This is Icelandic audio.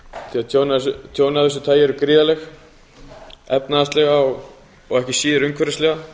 í öðrum fjörðum tjón af þessu tagi eru gríðarleg efnahagslega og ekki síður umhverfislega